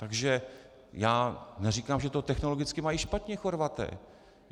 Takže já neříkám, že to technologicky mají špatně Chorvati.